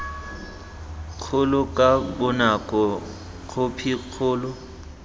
kgolo ka bonako khophi kgolo